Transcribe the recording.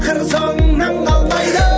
қыр соңыңнан қалмайды